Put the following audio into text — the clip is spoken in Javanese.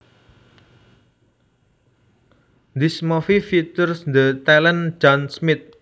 This movie features the talented John Smith